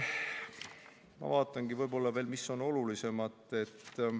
Ma vaatangi veel, mis on olulisemad asjad.